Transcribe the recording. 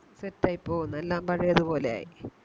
Set ആയി പോകുന്നു എല്ലാം പഴയത് പോലെയായി